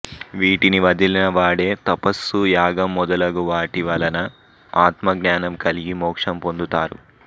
వీటిని వదిలిన వాడే తపస్సు యాగం మొదలగు వాటి వలన ఆత్మజ్ఞానం కలిగి మోక్షం పొందుతారు